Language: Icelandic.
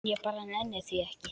Ég bara nenni því ekki.